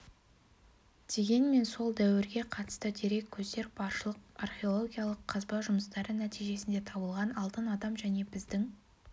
дегенмен сол дәуірге қатысты дерек көздер баршылық археологиялық қазба жұмыстары нәтижесінде табылған алтын адам және біздің